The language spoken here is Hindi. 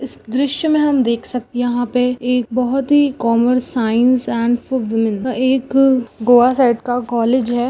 इस दृश्य में हम देख सक यहा पे एक बहुत ही commerce science and for women एक गोवा साइड का कॉलेज है।